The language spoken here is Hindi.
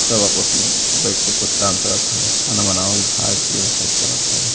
सब आपस में बइठ के कुछ के काम करत ह। खाना बनवाल खाए पिए सब करत ह।